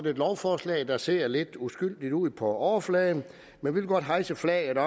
et lovforslag der ser lidt uskyldigt ud på overfladen men vi vil godt hejse flaget